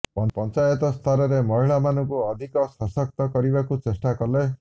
ପଞ୍ଚାୟତ ସ୍ତରରେ ମହିଳାମାନଙ୍କୁ ଅଧିକ ସଶକ୍ତ କରିବାକୁ ଚେଷ୍ଟା କଲେ